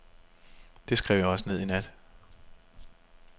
Det skrev jeg også ned i nat.